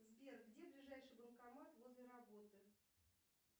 сбер где ближайший банкомат возле работы